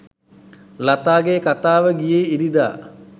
ලතාගේ කතාව ගියේ ඉරිදා